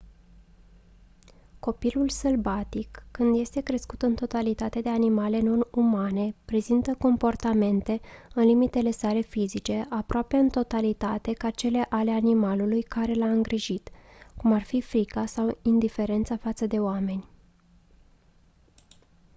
copilul sălbatic când este crescut în totalitate de animale non-umane prezintă comportamente în limitele sale fizice aproape în totalitate ca cele ale animalului care l-a îngrijit cum ar fi frica sau indiferența față de oameni